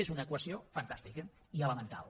és una equació fantàstica i elemental